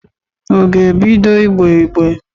Ọ ga-ebido ìgbé ígbé?